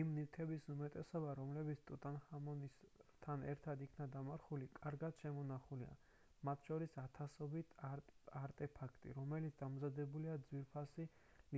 იმ ნივთების უმეტესობა რომლებიც ტუტანხამონთან ერთად იქნა დამარხული კარგად შემონახულია მათ შორის ათასობით არტეფაქტი რომელიც დამზადებულია ძვირფასი